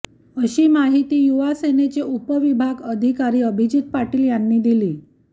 अशी माहिती युवासेनेचे उपविभाग अधिकारी अभिजीत पाटील यांनी दिली